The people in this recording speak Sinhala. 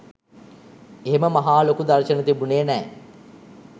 එහෙම මහා ලොකු දර්ශන තිබුණේ නෑ.